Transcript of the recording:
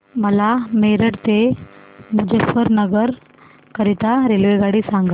मला मेरठ ते मुजफ्फरनगर करीता रेल्वेगाडी सांगा